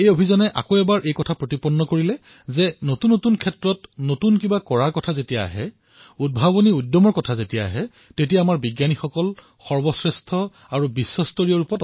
এই অভিযানে এই কথা নিশ্চিত কৰিলে যে যেতিয়া নতুন নতুন ক্ষেত্ৰত কিবা এটা কৰাৰ বাবে উদ্ভাৱনী উৎসাহৰ কথা উল্লেখ হয় তেনে ক্ষেত্ৰত আমাৰ বৈজ্ঞানিকসকল সৰ্বশ্ৰেষ্ঠ বিস্তস্তৰীয় হয়